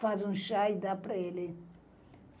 faz um chá e dá para ele.